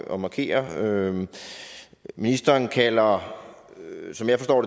at markere ministeren kalder som jeg forstår